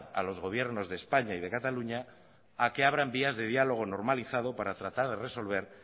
a los gobiernos de españa y de cataluña a que abran vías de diálogo normalizado para tratar de resolver